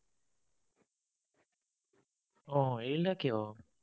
আহ এৰিলা কিয়?